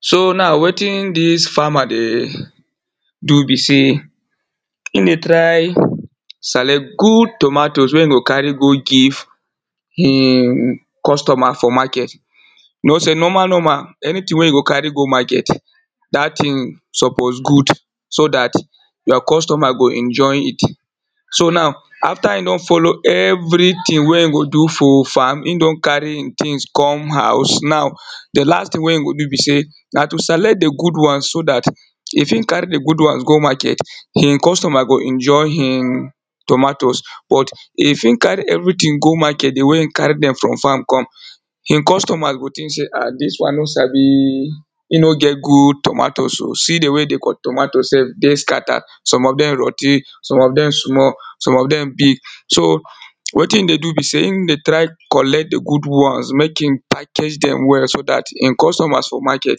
so now wetin dis farmer dey, do be sey, in dey try select good tomatoes wey in go carry go give in customer for market. know sey normal normal, anyting wey you go carry go market, dat ting suppose good, so dat your customer go enjot it. so now, after in don follow everyting wey e go do for farm, in don carry in tings come house now, the last ting wey e go do be sey, na to select the good ones so dat, if in carry the good ones go market, in customers go enjoy in tomatoes, but if in carry everyting go market the way in carry dem from farm come, your customers go think sey ah, dis one no sabi, e no get good tomatoes o, see the way the tomatoes sef dey scattered, some of dem rotty, some of dem small, some of dem big. so, wetin in dey do be sey, in dey try collect the good ones mek in package dem well, so dat in customers for market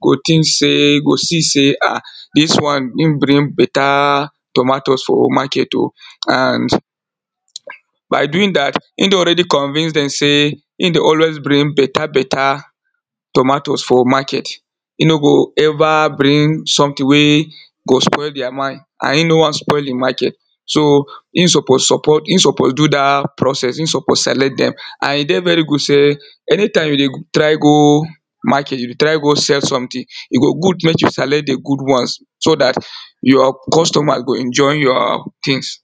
go think sey, go see sey ah, dis one in bring better, tomatoes o, market o, and, by doing dat, in don already convince dem sey, in dey always bring better, better tomatoes for market, in no go ever bring someting wey, go spoil deir mind, and in no wan spoil in market. so, in suppose support, in suppose do dat process, in suppose select dem, and e dey very good sey, anytime you dey try go, market, you dey try go sell someting, e go good mek you select the good ones, so dat, your customer go enjoy your tings.